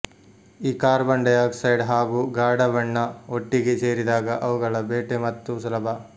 ಈ carbon dioxide ಹಾಗೂ ಗಾಢ ಬಣ್ಣ ಒಟ್ಟಿಗೇ ಸೇರಿದಾಗ ಅವುಗಳ ಬೇಟೆ ಮತ್ತೂ ಸುಲಭ